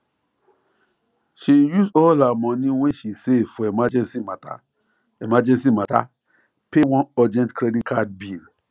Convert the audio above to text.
she use all her monie wey she save for emergency matter emergency matter pay one urgent credit card bill